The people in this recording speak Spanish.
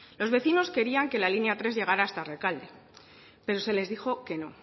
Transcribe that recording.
los vecinos querían que la línea tres llegara hasta rekalde pero se les dijo que no